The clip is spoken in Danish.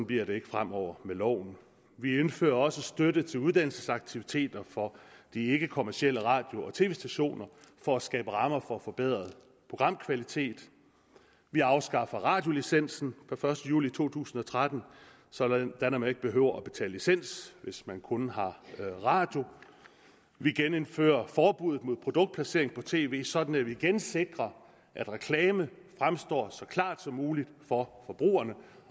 bliver det ikke fremover med loven vi indfører også støtte til uddannelsesaktiviteter for de ikkekommercielle radio og tv stationer for at skabe rammer for forbedret programkvalitet vi afskaffer radiolicensen fra den første juli to tusind og tretten sådan at man ikke behøver at betale licens hvis man kun har radio vi genindfører forbuddet mod produktplacering på tv sådan at vi igen sikrer at reklame fremstår så klart som muligt for forbrugerne